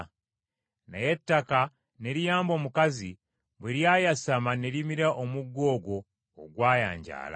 Naye ettaka ne liyamba omukazi bwe lyayasama ne limira omugga ogwo ogwayanjaala.